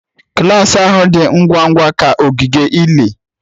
Klas ahụ dị ngwa ngwa ka ogige ili.